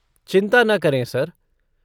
चिंता न करें, सर।